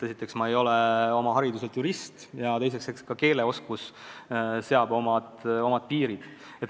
Esiteks, ma ei ole oma hariduselt jurist, ja teiseks, eks ka keeleoskus seab omad piirid.